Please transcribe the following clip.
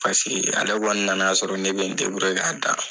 Paseke ale na na sɔrɔ ne bɛ n k'a da.